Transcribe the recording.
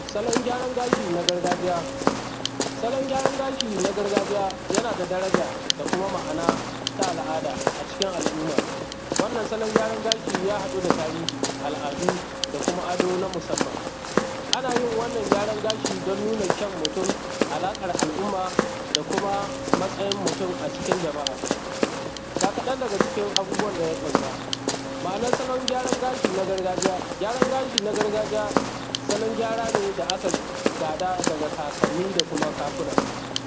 salon gyaran gashi na gargajiya salon gyaran gashi na gargajiya yana da daraja da kuma ma'ana ta alada acikin al'umma wannan salon gashi ya hadu da tarihi al'adu da kuma ado na musamman ana yin wannan gyarashi dan nuna kyan mutun alaqan al'umma da kuma matsayin mutun a cikin jama'a ga kadan daga cikin abubuwan da ya kunsa ma'anar salon gyaran gashi na gargajiya gyaran gashi na gargajiya salon gyara ne da aka gada daga kakanni da kuma kakuna